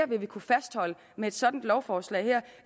vi vil kunne fastholde med et sådant lovforslag her